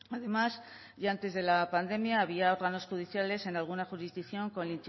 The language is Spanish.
además y antes de la pandemia había órganos judiciales en alguna jurisdicción con